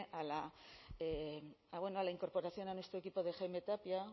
a la incorporación a nuestro equipo de jaime tapia